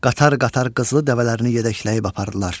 Qatar-qatar qızıl dəvələrini yedəkləyib apardılar.